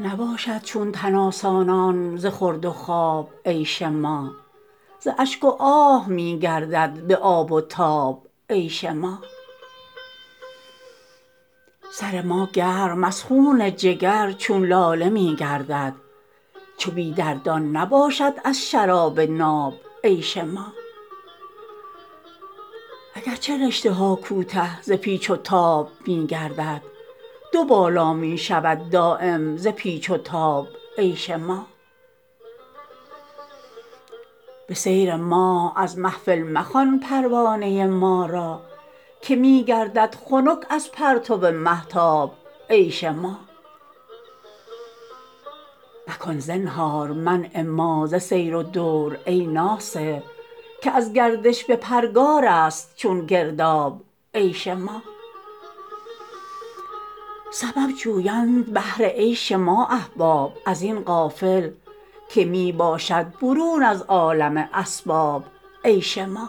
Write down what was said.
نباشد چون تن آسانان ز خورد و خواب عیش ما ز اشک و آه می گردد به آب و تاب عیش ما سر ما گرم از خون جگر چون لاله می گردد چو بی دردان نباشد از شراب ناب عیش ما اگر چه رشته ها کوته ز پیچ و تاب می گردد دو بالا می شود دایم ز پیچ و تاب عیش ما به سیر ماه از محفل مخوان پروانه ما را که می گردد خنک از پرتو مهتاب عیش ما مکن زنهار منع ما ز سیر و دور ای ناصح که از گردش به پرگارست چون گرداب عیش ما سبب جویند بهر عیش ما احباب ازین غافل که می باشد برون از عالم اسباب عیش ما